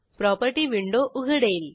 property window उघडेल